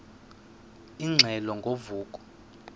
ingxelo ngo vuko